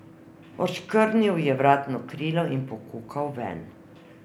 Odškrnil je vratno krilo in pokukal ven.